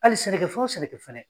Hali sɛnɛkɛ fɛn o sɛnɛkɛ fɛnɛ.